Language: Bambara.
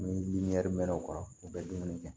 Ni mɛnna o kɔrɔ u bɛ dumuni kɛ